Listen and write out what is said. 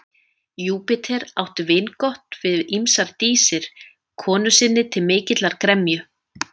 Júpíter átti vingott við ýmsar dísir konu sinni til mikillar gremju.